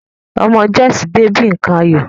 Ọmọ Joyce dé bi nkan ayọ̀.